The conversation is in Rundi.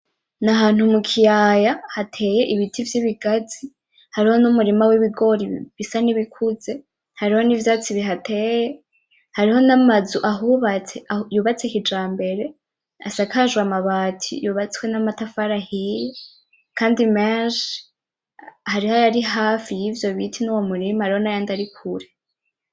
Ni ahantu mu kiyaha hateye ibiti vy'ibigazi hariho n'umurima w'ibigori bisa nkibikuze hariho n'ivyatsi bihateye hariho n'amazu ahubatse yubatse kijambere asakajwe amabati yubatswe n'amatafari ahiye kandi menshi hariho ayari hafi yivyo biti nuwo murima hariho nayandi ari kure.